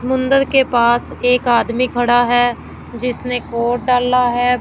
मुन्दर के पास एक आदमी खड़ा है जिसनें कोट डाला हैं।